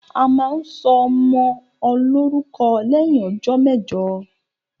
A máa ń sọ ọmọ lórúkọ lẹ́yìn ọjọ́ mẹejọ